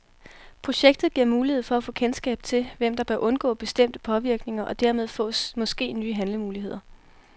Projektet giver mulighed for at få kendskab til, hvem der bør undgå bestemte påvirkninger, og dermed fås måske nye handlemuligheder.